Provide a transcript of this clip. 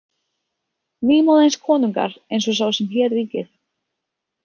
Nýmóðins konungar eins og sá sem hér ríkir.